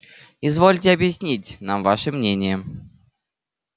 извольте объяснить нам ваше мнение